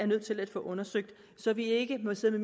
nødt til at få undersøgt så vi ikke må sidde